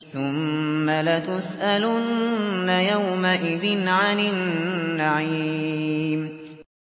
ثُمَّ لَتُسْأَلُنَّ يَوْمَئِذٍ عَنِ النَّعِيمِ